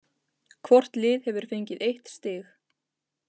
Hvort lið hefur fengið eitt stig